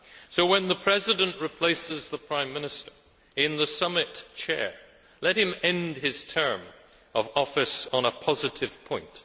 So, when the President replaces the Prime Minister in the summit chair, let him end his term of office on a positive point.